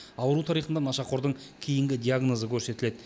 ауру тарихында нашақордың кейінгі диагнозы көрсетіледі